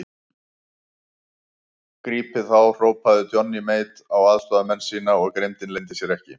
Grípið þá hrópaði Johnny Mate á aðstoðarmenn sína og grimmdin leyndi sér ekki.